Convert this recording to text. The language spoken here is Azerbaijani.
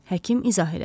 Həkim izah elədi.